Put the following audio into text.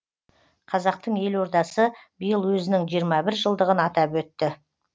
қазақтың елордасы биыл өзінің жиырма бір жылдығын атап өтті